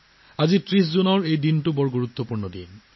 আজি ৩০ জুন তাৰিখৰ দিনটো অতি গুৰুত্বপূৰ্ণ